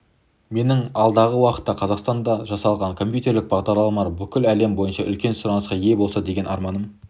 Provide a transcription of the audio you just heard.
менің алдағы уақытта қазақстанда жасалған компьютерлік бағдарламалар бүкіл әлем бойынша үлкен сұранысқа ие болса деген арманым